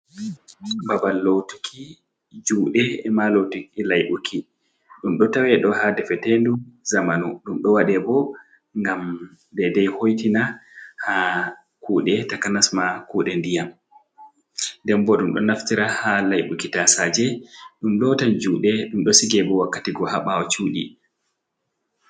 Babal lotiki jude e'ma lotiki laibuki ɗum ɗo tawe do ha defetendu zamanu ɗum do waɗe bo ngam daidai hoitina ha kude takanas ma kude ndiyam den bo ɗum do naftira ha laibuki tasaje d ɗum lotan juɗe ɗum do sigebo wakkati go ha bawo sudi.